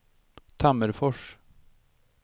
Tammerfors